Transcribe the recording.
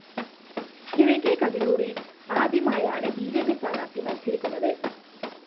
കിഴക്കെ കതിരൂരില്‍ ആദ്യമായാണ് B J P സ്ഥാനാര്‍ത്ഥി മത്സരിക്കുന്നത്